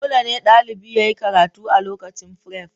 Dole ne ɗalibi yayi karatu a lokacin firef